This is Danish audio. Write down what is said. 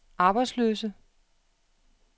arbejdsløse